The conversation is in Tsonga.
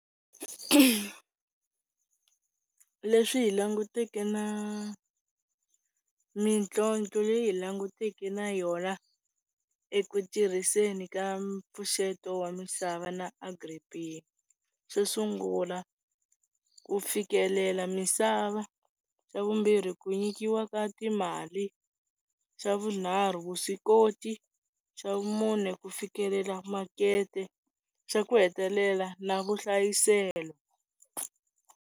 Leswi hi languteke na mintlhontlho leyi hi langutaneke na yona eku tirhiseni ka mpfuxeto wa misava na Agri-B_E_E xo sungula ku fikelela misava, xa vumbirhi ku nyikiwa ka timali, xa vunharhu vuswikoti, xa vumune ku fikelela makete, xa ku hetelela na vuhlayiselo.